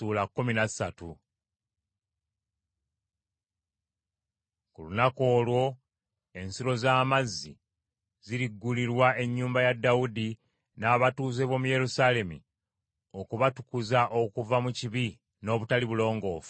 “Ku lunaku olwo ensulo z’amazzi ziriggulirwa ennyumba ya Dawudi n’abatuuze b’omu Yerusaalemi okubatukuza okuva mu kibi n’obutali bulongoofu.